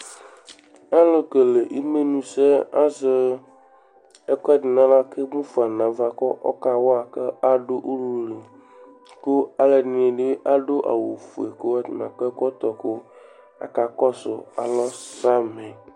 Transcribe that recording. Alʋkele imenusɛ azɛ ɛkʋɛdɩ nʋ aɣla kʋ emu fa nʋ ava kʋ ɔkawa kʋ adʋ ulu li kʋ alʋɛdɩnɩ bɩ adʋ awʋ ofue atanɩ akɔ ɛkɔtɔ kʋ akakɔsʋ alɔ samɩ